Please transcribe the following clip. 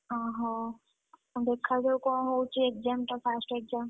ଓହୋ ଦେଖାଯାଉ କଣହଉଚି exam ଟା first exam ।